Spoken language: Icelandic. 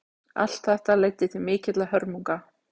Allt þetta leiddi til mikilla hörmunga.